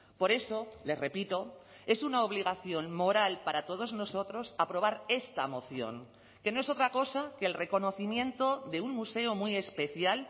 por eso le repito es una obligación moral para todos nosotros aprobar esta moción que no es otra cosa que el reconocimiento de un museo muy especial